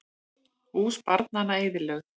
Hús barnanna eyðilögð